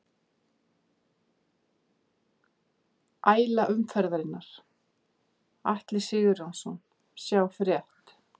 Æla umferðarinnar: Atli Sigurjónsson Sjá frétt